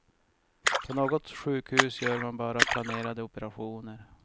På något sjukhus gör man bara planerade operationer.